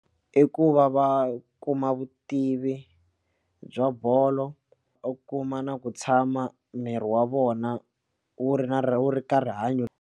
I ku va va kuma vutivi bya bolo u kuma na ku tshama miri wa vona wu ri na wu ri ka rihanyo.